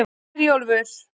Hjörleifur